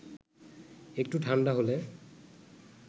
একটু ঠাণ্ডা হলে